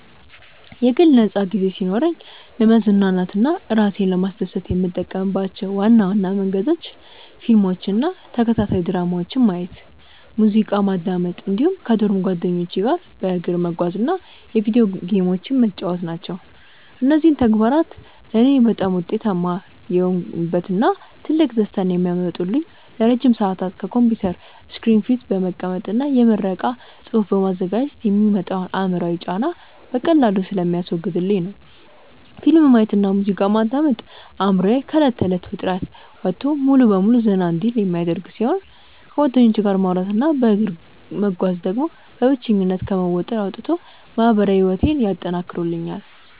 የግል ነፃ ጊዜ ሲኖረኝ ለመዝናናት እና እራሴን ለማስደሰት የምጠቀምባቸው ዋና ዋና መንገዶች ፊልሞችን እና ተከታታይ ድራማዎችን ማየት፣ ሙዚቃ ማዳመጥ እንዲሁም ከዶርም ጓደኞቼ ጋር በእግር መጓዝ እና የቪዲዮ ጌሞችን መጫወት ናቸው። እነዚህ ተግባራት ለእኔ በጣም ውጤታማ የሆኑበት እና ትልቅ ደስታን የሚያመጡልኝ ለረጅም ሰዓታት ከኮምፒውተር ስክሪን ፊት በመቀመጥ እና የምረቃ ፅሁፍ በማዘጋጀት የሚመጣውን አእምሯዊ ጫና በቀላሉ ስለሚያስወግዱልኝ ነው። ፊልም ማየት እና ሙዚቃ ማዳመጥ አእምሮዬ ከእለት ተእለት ውጥረት ወጥቶ ሙሉ በሙሉ ዘና እንዲል የሚያደርጉ ሲሆን፣ ከጓደኞቼ ጋር ማውራት እና በእግር መጓዝ ደግሞ በብቸኝነት ከመወጠር አውጥተው ማህበራዊ ህይወቴን ያጠናክሩልኛል።